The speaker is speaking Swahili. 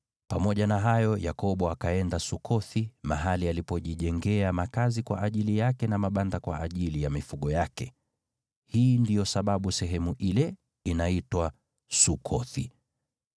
Pamoja na hayo, Yakobo akaenda Sukothi, mahali alipojijengea makazi kwa ajili yake na mabanda kwa ajili ya mifugo yake. Hii ndiyo sababu sehemu ile inaitwa Sukothi.